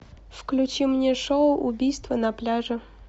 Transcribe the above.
включи мне шоу убийство на пляже